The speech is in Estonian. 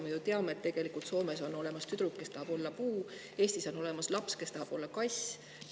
Me ju teame, et Soomes on olemas tüdruk, kes tahab olla puu, ja Eestis on olemas laps, kes tahab olla kass.